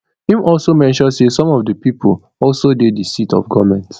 im also mention say some of di pipo also dey di seat of goment